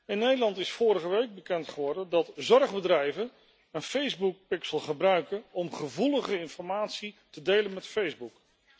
In Nederland is vorige week bekend geworden dat zorgbedrijven een Facebookpixel gebruiken om gevoelige informatie te delen met Facebook.